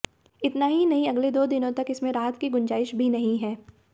इतना ही नहीं अगले दो दिनों तक इसमें राहत की गुजाइश भी नहीं है